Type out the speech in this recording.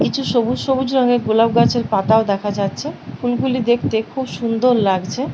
কিছু সবুজ সবুজ রঙয়ের গোলাপ গাছের পাতাও দেখা যাচ্ছে । ফুলগুলি দেখতে খুব সুন্দর লাগছে।